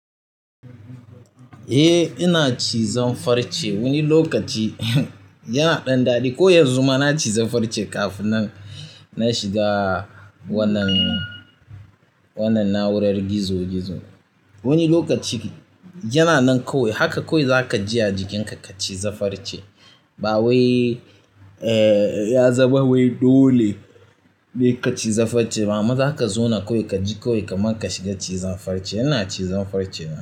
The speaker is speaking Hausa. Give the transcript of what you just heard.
Eh ina cizon farce. Wani lokaci yana ɗan daɗi, ko yanzu ma na ciza farce kafin na shiga wannan, wannan na'urar gizo-gizo. Wani lokaci yana nan kawai haka kawai za ka ji a jikinka ka ciza farce. Ba wai, eh ya zama wai dole ne ka ciza farce ba, amma zaka zauna kawai kaji kawai kaman ka shiga cizan farce. Ina cizon farce.